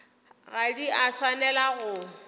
ga di a swanela go